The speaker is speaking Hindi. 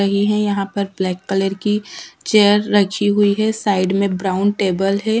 पहले ही यहां पर ब्लैक कलर की चेयर रखी हुई है साइड में ब्राउन टेबल है।